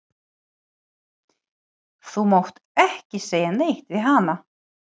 Þú mátt ekki segja neitt við hana.